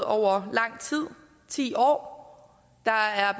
over lang tid ti år der er